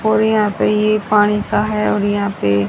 और यहां पे ये पानी सा है और यहां पे--